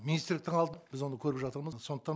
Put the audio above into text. министрліктің біз оны көріп жатырмыз сондықтан